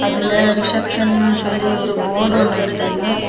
இதுல ரிசப்ஷன் சொல்லி ஒரு போர்டு ஒன்னு வெச்சிருக்கு.